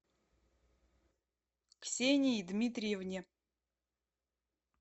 ксении дмитриевне